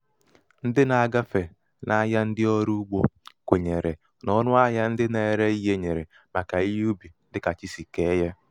um ndi na-agafe n’ahịa ndị ọrụ ugbō kwènyèrè n’ọnụ ahịā ndị na-ere um ihē nyèrè màkà ihe ubì dị kà chi sì ke yā